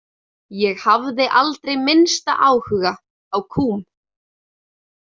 Ég hafði aldrei minnsta áhuga á kúm.